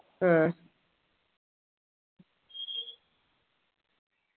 ആഹ്